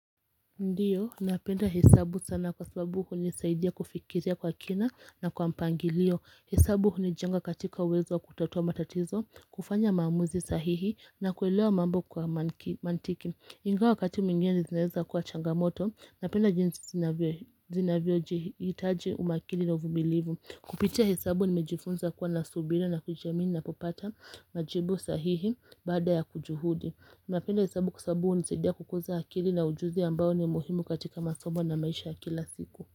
Ndiyo, napenda hesabu sana kwa sababu hunisaidia kufikiria kwa kina na kwa mpangilio hesabu hunijenga katika uwezo wa kutatua matatizo, kufanya maamuzi sahihi na kuelewa mambo kwa mantiki Ingawa wakati mwingine zinaeza kuwa changamoto, napenda jinsi zinavyojihitaji umakini na uvumilivu Kupitia hesabu nimejifunza kuwa na subira na kujiamini napopata majibu sahihi baada ya kujuhudi napenda hesabu kwa sababu hunisaidia kukuza akili na ujuzi ambayo ni muhimu katika masomo na maisha ya kila siku.